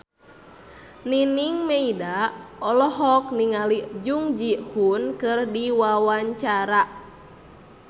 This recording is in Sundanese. Nining Meida olohok ningali Jung Ji Hoon keur diwawancara